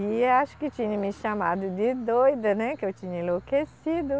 E acho que tinha me chamado de doida, né, que eu tinha enlouquecido.